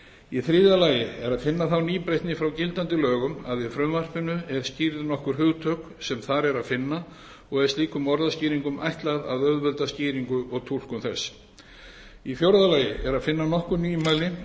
í þriðja lagi er að finna þá nýbreytni frá gildandi lögum að í frumvarpinu er skýrð nokkur hugtök sem þar er að finna og er slíkum orðskýringum ætlað að auðvelda skýringu og túlkun þess í fjórða lagi er að finna nokkur nýmæli